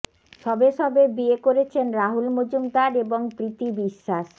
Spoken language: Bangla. সবে সবে বিয়ে করেছেন রাহুল মজুমদার এবং প্রীতি বিশ্বাস